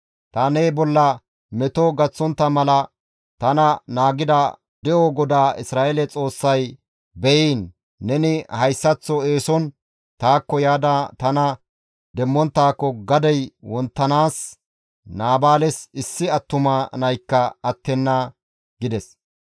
Ta ne bolla meto gaththontta mala tana naagida De7o GODAA Isra7eele Xoossay beyiin! Neni hayssaththo eeson taakko yaada tana demmonttaako gadey wonttanaas Naabaales issi attuma naykka attenna» gides.